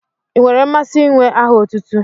Ị nwere mmasị inwe aha otutu?